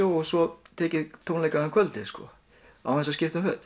og svo tek ég tónleika um kvöldið án þess að skipta um föt